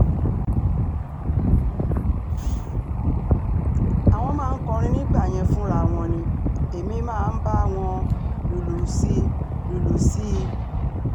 àwọn máa ń kọrin nígbà yẹn fúnra wọn ni èmi máa bá wọn lùlù sí lùlù sí i